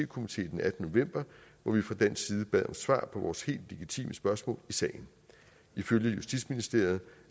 komité den attende november hvor vi fra dansk side bad om svar på vores helt legitime spørgsmål i sagen ifølge justitsministeriet